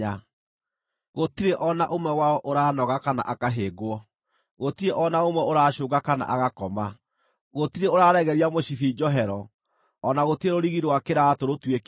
Gũtirĩ o na ũmwe wao ũraanoga kana akahĩngwo, gũtirĩ o na ũmwe ũracũũnga kana agakoma; gũtirĩ ũraregeria mũcibi njohero, o na gũtirĩ rũrigi rwa kĩraatũ rũtuĩkĩte.